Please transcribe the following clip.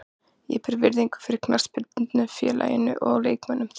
Ég ber virðingu fyrir knattspyrnufélaginu og leikmönnum þess.